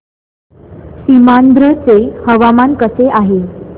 सीमांध्र चे हवामान कसे आहे